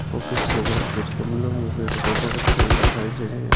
Office के बहार कुछ गमलो में पेड़ पौधे रखे हुए दिखाई दे रहे हैं।